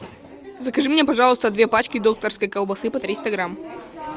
закажи мне пожалуйста две пачки докторской колбасы по триста грамм